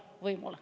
Aitäh!